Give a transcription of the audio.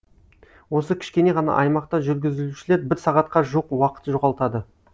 осы кішкене ғана аймақта жүргізушілер бір сағатқа жуық уақыт жоғалтады